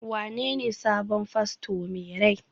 wanene sabon fasto mai rai?